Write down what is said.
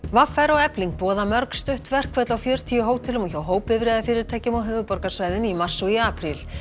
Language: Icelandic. v r og Efling boða mörg stutt verkföll á fjörutíu hótelum og hjá á höfuðborgarsvæðinu í mars og apríl